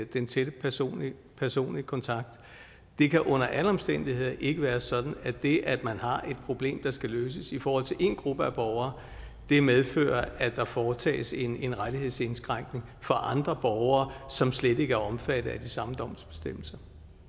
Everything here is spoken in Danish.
den tætte personlige personlige kontakt det kan under alle omstændigheder ikke være sådan at det at man har et problem der skal løses i forhold til én gruppe af borgere medfører at der foretages en en rettighedsindskrænkning for andre borgere som slet ikke er omfattet af de samme domsbestemmelser